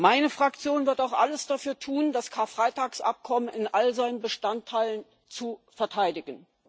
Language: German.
Meine Fraktion wird auch alles dafür tun, das Karfreitagsabkommen in all seinen Bestandteilen zu verteidigen.